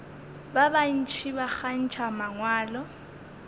ba bantši ba kgantšha mangwalo